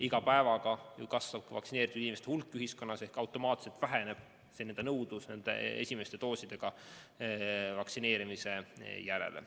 Iga päevaga kasvab vaktsineeritud inimeste hulk ja automaatselt väheneb nõudlus esimeste doosidega vaktsineerimise järele.